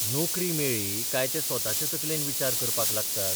नोकरी मेळ्ळी काय ते स्वताचे तकलेन विचार करपाक लागतात.